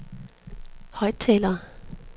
højttaler